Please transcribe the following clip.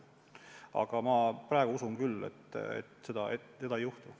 Aga ma praegu usun küll, et seda ei juhtu.